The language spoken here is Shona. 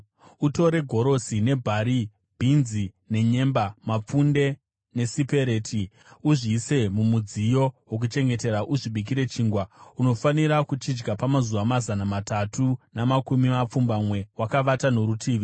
“Utore gorosi nebhari, bhinzi nenyemba, mapfunde nesipereti; uzviise mumudziyo wokuchengetera uzvibikire chingwa. Unofanira kuchidya pamazuva mazana matatu namakumi mapfumbamwe wakavata norutivi.